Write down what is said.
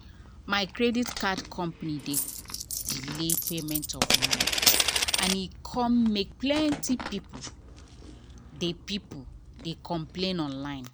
my credit card company dey delay payment of money and e come make plenty people dey people dey complain online.